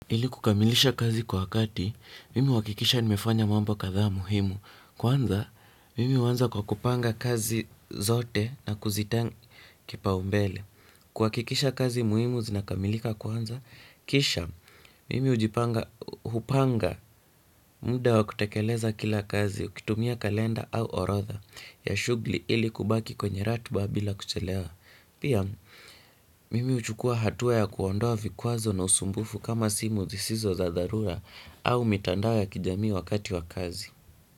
Ili kukamilisha kazi kwa wakati, mimi huhakikisha nimefanya mambo kadhaa muhimu. Kwanza, mimi huanza kwa kupanga kazi zote na kuzipa kipaombele kuhakikisha kazi muhimu zinakamilika kwanza, kisha, mimi ujipanga, hupanga, muda wa kutekeleza kila kazi, ukitumia kalenda au orodha ya shughuli ili kubaki kwenye ratiba bila kuchelewa. Pia, mimi huchukua hatua ya kuondoa vikwazo na usumbufu kama simu zisizo za dharura au mitandao ya kijamii wakati wa kazi.